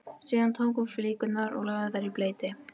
Síðan tók hún flíkurnar og lagði þær í bleyti.